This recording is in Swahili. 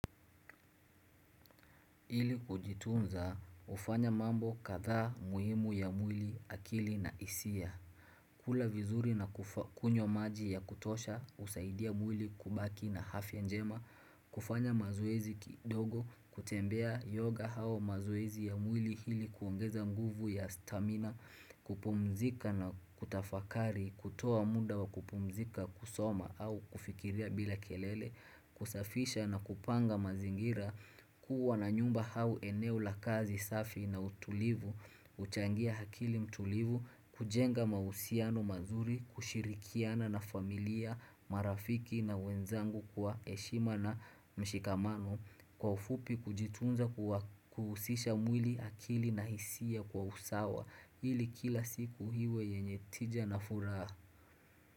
Ili kujitunza hufanya mambo kadhaa muhimu ya mwili akili na hisia. Kula vizuri na kunywa maji ya kutosha usaidia mwili kubaki na afya njema, kufanya mazoezi kidogo, kutembea yoga au mazoezi ya mwili ili kuongeza nguvu ya stamina, kupumzika na kutafakari, kutoa muda wa kupumzika kusoma au kufikiria bila kelele, kusafisha na kupanga mazingira, Kuuwa na nyumba au eneo la kazi safi na utulivu, uchangia akili mtulivu, kujenga mausiano mazuri, kushirikiana na familia, marafiki na wenzangu kwa heshima na mshikamano, kwa ufupi kujitunza kuhusisha mwili akili na hisia kwa usawa, ili kila siku iwe yenye tija na furaha.